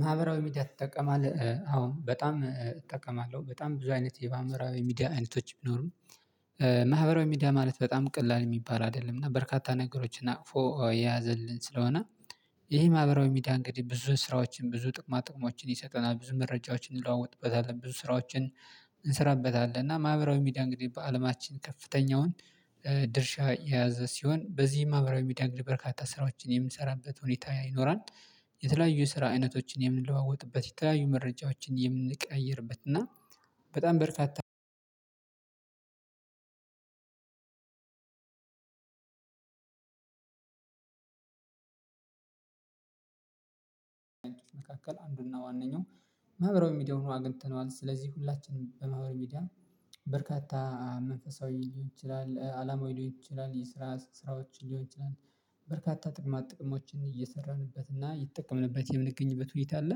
ማህበራዊ ሚዲያ ትጠቀማለህ አሁን በጣም እጠቀማለሁ በጣም ብዙ አይነት የማህበራዊ ሚዲያ አይነቶች ቢኖሩም ማህበራዊ ሚዲያ ማለት በጣም ቀላል የሚባል አይደለም እና በርካታ ነገሮችን አቅፎ የያዘልን ስለሆነ ይሄ ማህበራዊ ሚዲያ እንግዲህ ብዙ ስራዎችን ብዙ ጥቅማ ጥቅሞችን ይሰጠናል ብዙ መረጃዎችን እንለዋወጥበታለን ብዙ ስራዎችን እንሰራበታለን እና ማህበራዊ ሚዲያ እንግዲህ በአለማችን ከፍተኛውን ድርሻ የያዘ ሲሆን በዚህም ማህበራዊ ሚዲያ እንግዲህ በርካታ ስራዎችን የምንሰራበት ሁኔታ ይኖራል። የተለያዩ ስራ አይነቶችን የምንለዋወጥበት የተለያዩ መረጃዎችን የምንቀያየርበት እና በጣም በርካታ አንድ መካከል አንዱና ዋነኛው መህበራዊ ሚዲያውን አግኝተነዋል። ስለዚህ ሁላችንም በማህበራዊ ሚዲያ በርካታ መንፈሳዊ ሊሆን ይችላል አለማዊ ሊሆን ይችላል ይሄ ስራ ስራዎች ሊሆን ይችላል በርካታ ጥቅማ ጥቅሞችን እየሰራንበት እና የምንጠቀምበት የምንገኝበት ሁኔታ አለ።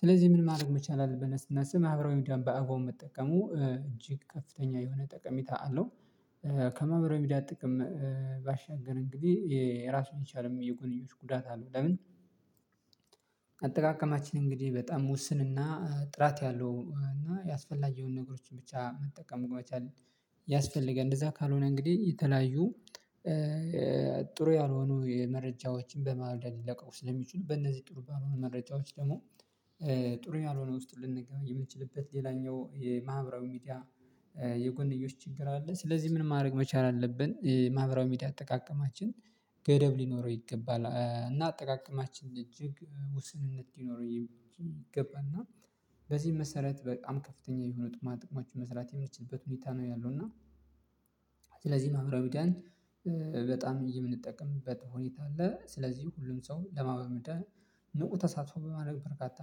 ስለዚህ ምን ማድረግ መቻል አለብን ብለን ስናስብ ማህበራዊ ሚድያ በአግባቡ መጠቀሙ እጅግ ከፍተኛ የሆነ ጠቀሚታ አለው። ከማህበራዊ ሚዲያ ጥቅም ባሻገር እንግዲህ የራሱን ይቻለ የጎንዮሽ ጉዳት አለው። ለምን አጠቃቀማችን እንግዲህ በጣም ውስንና ጥራት ያለው እና ያስፈላጊውን ነገሮችን ብቻ መጠቀም መቻል። ያስፈልገን እንደዛ ካልሆነ እንግዲህ የተለያዩ ጥሩ ያልሆኑ የመረጃዎችን በማውደድ ሊለቀው ስለሚጩኑ በእነዚህ ጥሩ ባልሆኑ መረጃዎች ደግሞ ጥሩ ያልሆነ ውስጥ ልንገባ የምንችልበት ሌላኛው የማህበራዊ ሚዲያ የጎንዮሽ ችግር አለ። ስለዚህ ምን ማድረግ መቻል አለብን ማህበራዊ ሚዲያ አጠቃቀማችን ገደብ ሊኖረው ይገባል እና አጠቃቀማችን እጅግ ውስንነት ይኖረው ይገባና። በዚህ መሰረት በጣም ከፍተኛ የሆኑ ጥቅማ ጥቅማ ጥቅሞችን መስራት የምችልበት ሁኔታ ነው ያለው እና ማህበራዊ ሚድያን በጣም የምንጠቀምበት ሁኔታ አለ። ስለዚህ ሁሉም ሰው ለማህበራዊ ሚድያ ንቁ ተሳትፎ በማድረግ በርካታ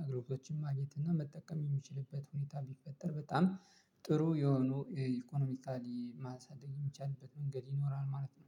አገልግሎቶችን ማግኘት እና መጠቀም የሚችልበት ሁኔታ ቢፈጠር በጣም ጥሩ የሆኑ የኢኮኖሚካሊ ማሳደግ የሚቻልበት መንገድ ይኖራል ማለት ነው